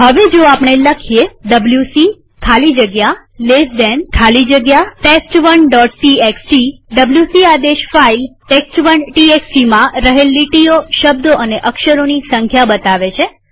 હવે જો આપણે આ લખીએ ડબ્લ્યુસી ખાલી જગ્યા ltડાબા ખૂણાવાળો કૌંસ ખાલી જગ્યા ટેસ્ટ1 txt ડબ્લ્યુસી આદેશ ફાઈલ test1textમાં રહેલ લીટીઓશબ્દો અને અક્ષરોની સંખ્યા બતાવે છે